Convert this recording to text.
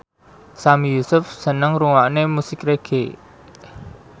Sami Yusuf seneng ngrungokne musik reggae